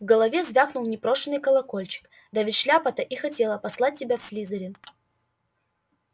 в голове звякнул непрошеный колокольчик да ведь шляпа-то и хотела послать тебя в слизерин